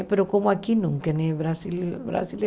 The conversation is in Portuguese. Mas como aqui nunca, Brasil